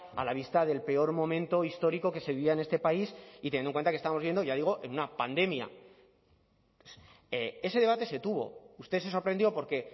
a la vista del peor momento histórico que se vivía en este país y teniendo en cuenta que estamos viendo ya digo en una pandemia ese debate se tuvo usted se sorprendió porque